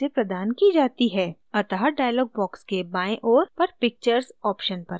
अतः dialog box के बाएँ ओर पर pictures option पर click करें